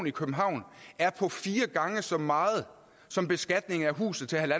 i københavn er på fire gange så meget som beskatningen af huset til